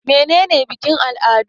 Mene ne bikin-al'adu?